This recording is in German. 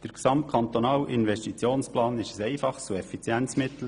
Der gesamtkantonale Investitionsplan sei ein einfaches und effizientes Mittel.